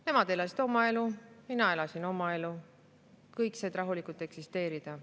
Nemad elasid oma elu, mina elasin oma elu, kõik said rahulikult eksisteerida.